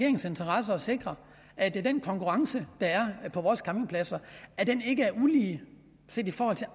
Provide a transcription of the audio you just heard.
interesse at sikre at den konkurrence der er på vores campingpladser ikke er ulige set i forhold til